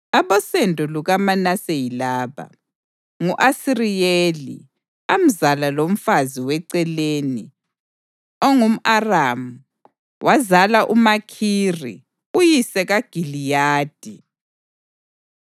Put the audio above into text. Abosendo lukaManase yilaba: ngu-Asiriyeli amzala lomfazi weceleni ongumʼAramu. Wazala uMakhiri uyise kaGiliyadi.